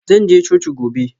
Zan je coci gobe.